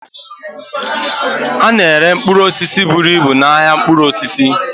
A na-ere mkpụrụ osisi buru ibu n'ahịa mkpụrụ osisi.